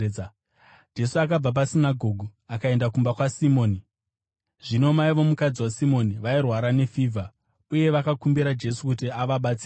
Jesu akabva pasinagoge akaenda kumba kwaSimoni. Zvino mai vomukadzi waSimoni vairwara nefivha, uye vakakumbira Jesu kuti avabatsire.